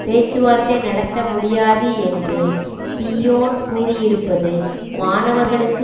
பேச்சுவார்த்தை நடத்த முடியாது என்று பிய்யோன் கூறியிருப்பது மாணவர்களுக்கு